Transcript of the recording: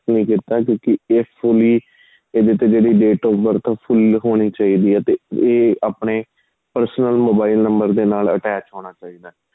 accept ਨਹੀਂ ਕੀਤਾ ਕਿਉਂਕਿ ਇਸ ਲਈ ਇਹਦੇ ਤੇ ਜਿਹੜੀ date of birth full ਹੋਣੀ ਚਾਹੀਦੀ ਆਂ ਤੇ ਏ ਆਪਣੇਂ personal mobile number ਦੇ ਨਾਲ attach ਹੋਣਾ ਚਾਹੀਦਾ